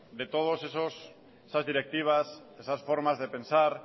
de todos esas directivas esas formas de pensar